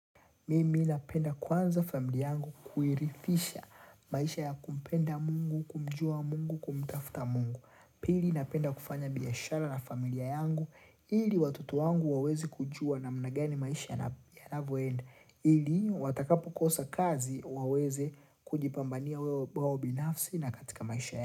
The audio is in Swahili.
Mimi napenda kuanza familia yangu kuhirifisha maisha ya kumpenda mungu, kumjua mungu, kumtafta mungu. Pili napenda kufanya biashara na familia yangu. Ili watoto wangu waweze kujua namna gani maisha yanavoenda. Ili watakapo kosa kazi waweze kujipambania wao binafsi na katika maisha yangu.